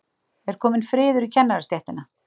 Er kominn friður í kennarastéttinni?